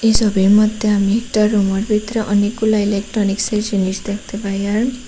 সোবির মধ্যে আমি একটা রুমের ভিতরে অনেকগুলা ইলেকট্রনিক্সের জিনিস দেখতে পাই আর--